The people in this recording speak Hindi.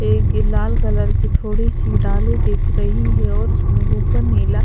ये एक लाल कलर की थोड़ी-सी डाली दिख रही है और उसमें ऊपर नीला--